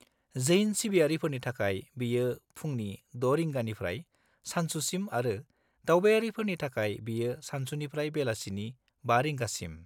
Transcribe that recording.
-जैन सिबियारिफोरनि थाखाय बेयो फुंनि 6:00 रिंगानिफ्राय सानसुसिम आरो दावबायारिफोरनि थाखाय बेयो सानसुनिफ्राय बेलासिनि 5:00 रिंगासिम।